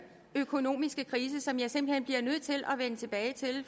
økonomiske krise som jeg simpelt hen bliver nødt til at vende tilbage til